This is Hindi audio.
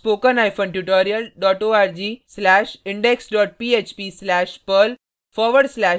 scriptspokentutorialorg/indexphp/perl